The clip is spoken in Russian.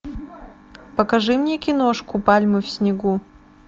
покажи мне киношку пальмы в снегу